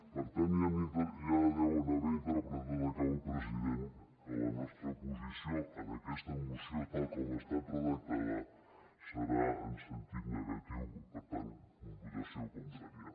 per tant ja deuen haver interpretat acabo president que la nostra posició en aquesta moció tal com ha estat redactada serà en sentit negatiu per tant votació contrària